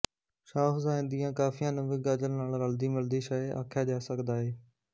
ਸ਼ਾਹ ਹੁਸੈਨ ਦੀਆਂ ਕਾਫ਼ੀਆਂ ਨੂੰ ਵੀ ਗ਼ਜ਼ਲ ਨਾਲ਼ ਰਲਦੀ ਮਿਲਦੀ ਸ਼ੈ ਆਖਿਆ ਜਾ ਸਕਦਾ ਏ